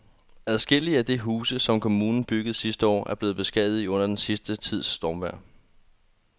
Adskillige af de huse, som kommunen byggede sidste år, er blevet beskadiget under den sidste tids stormvejr.